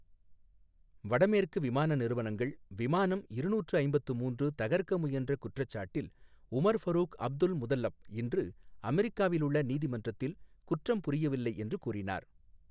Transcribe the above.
வடமேற்கு விமான நிறுவனங்கள் விமானம் இருநூற்று ஐம்பத்து மூன்று தகர்க்க முயன்ற குற்றச்சாட்டில் உமர் ஃபரூக் அப்துல்முதல்லப் இன்று அமெரிக்காவில் உள்ள நீதிமன்றத்தில் குற்றம் புரியவில்லை என்று கூறினார்.